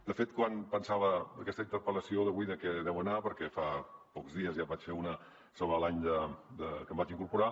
de fet quan pensava aquesta interpel·lació d’avui de què deu anar perquè fa pocs dies ja en vaig fer una sobre l’any que em vaig incorporar